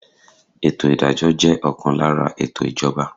Ètò ìdájọ́ jẹ́ ọ̀kan lára ètò ìjọba.